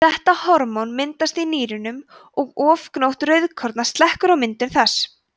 þetta hormón myndast í nýrunum og ofgnótt rauðkorna slekkur á myndun þess